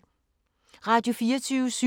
Radio24syv